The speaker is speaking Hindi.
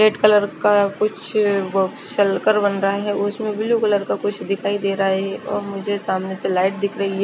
फेट कलर का कुछ बोस सलकर बनरा है उसमे ब्लू कलर का कुछ दिखाई देरा है और मुझे सामने से लाइट दिख रई है।